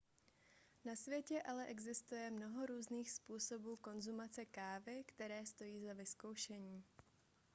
na světě ale existuje mnoho různých způsobů konzumace kávy které stojí za vyzkoušení